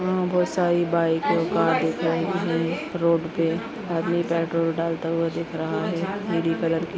यहाँ बहुत सारी बाइक और कार दिख रहे है रोड पे आदमी पेट्रोल डालता हुआ दिख रहा है नीली कलर की--